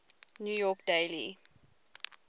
new york daily